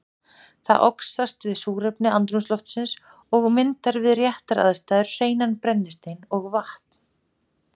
Það oxast við súrefni andrúmsloftsins og myndar við réttar aðstæður hreinan brennistein og vatn.